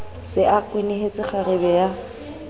se a kwenehetse kgarebe ya